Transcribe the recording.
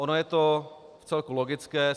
Ono je to vcelku logické.